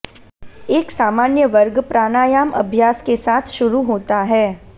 एक सामान्य वर्ग प्राणायाम अभ्यास के साथ शुरू होता है